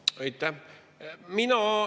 Aitäh!